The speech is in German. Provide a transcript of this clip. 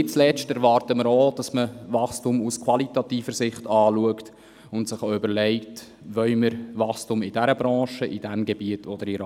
Nicht zuletzt erwarten wir, dass man Wachstum aus qualitativer Sicht betrachtet und sich auch überlegt, in welchem Gebiet und in welcher Branche man ein Wachstum will.